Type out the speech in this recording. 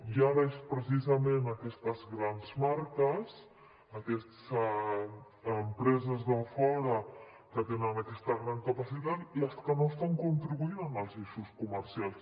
i ara són precisament aquestes grans marques aquestes empreses de fora que tenen aquesta gran capacitat les que no estan contribuint en els eixos comercials